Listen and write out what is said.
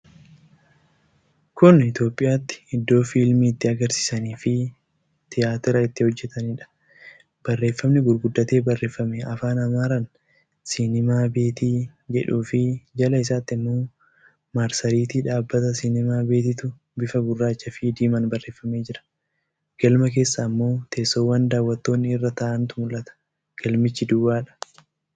Kun Itiyoophiyaatti iddoo Fiilmii itti agarsiisaniifii Tiyaatira itti hojjetanidha. Barreefami gurguddatee barreefame Afaan Amaaraan 'Sinimaa beetii' jedhuufii jala isaatti immoo marsariitii dhaabbata Sinimaa beetiitu bifa gurraacha fi diimaan barreefamee jira. Galma keessa ammoo teessowwan daawwattoonni irra taa'antu mul'ata. Galmichi duwwaadha.